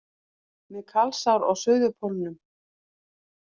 Með kalsár á Suðurpólnum